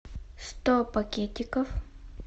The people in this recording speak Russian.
сто пакетиков